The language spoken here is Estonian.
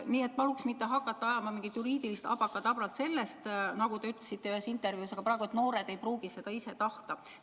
Nii et paluks mitte hakata ajama mingit juriidilist abrakadabrat sellest, nagu te ühes intervjuus ütlesite, et aga noored ei pruugi seda ise tahta.